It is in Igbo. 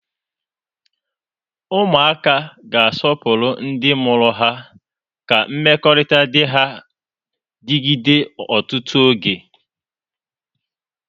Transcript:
Ụmụaka ga-asọpụrụ ndị mụrụ ha ka mmekọrịta dị ha digide ọtụtụ oge.